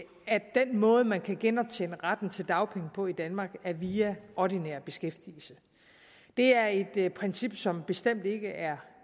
den måde man kan genoptjene retten til dagpenge på i danmark er via ordinær beskæftigelse det er et princip som bestemt ikke er